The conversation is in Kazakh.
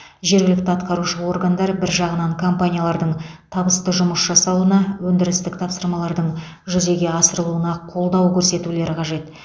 жергілікті атқарушы органдар бір жағынан компаниялардың табысты жұмыс жасауына өндірістік тапсырмалардың жүзеге асырылуына қолдау көрсетулері қажет